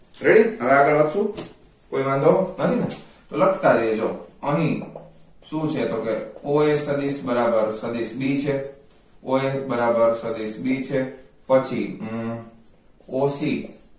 Ready હવે આગળ વધશું કોઈ વાંધો નથી ને તો લખતા જ રહેજો અહીં શું છે તો કે oa સદિસ બરાબર સદિસ b છે oa બરાબર સદિસ b છે પછી હમમ oc